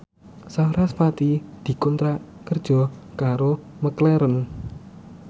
sarasvati dikontrak kerja karo McLarren